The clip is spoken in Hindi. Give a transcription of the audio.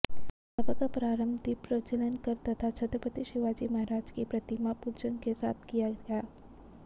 सभा का प्रारंभ दीपप्रज्वलन कर तथा छत्रपति शिवाजी महाराज की प्रतिमापूजन के साथ किया गया